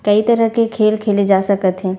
कई तरह के खेल खेले जा सकत हे।